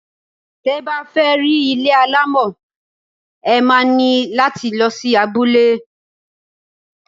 Tẹ bá fẹ́ rí ilé alámọ̀, ẹ má ní láti lọ sí abule.